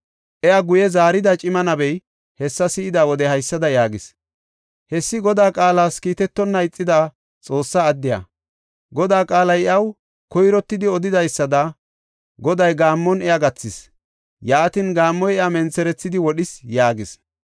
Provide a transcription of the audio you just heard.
Iya guye zaarida cima nabey hessa si7ida wode haysada yaagis; “Hessi Godaa qaalas kiitetonna ixida Xoossa addiya. Godaa qaalay iyaw koyrottidi odidaysada Goday gaammon iya gathis; yaatin, gaammoy iya mentherethidi wodhis” yaagis.